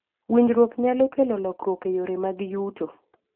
Winjruok nyalo kelo lokruok e yore mag yuto.